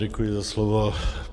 Děkuji za slovo.